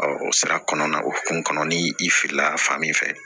o sira kɔnɔna o kun kana ni i filila fan min fɛ